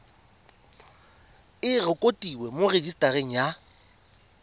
e rekotiwe mo rejisetareng ya